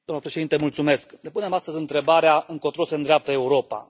Domnule președinte, mulțumesc. Ne punem astăzi întrebarea încotro se îndreaptă Europa?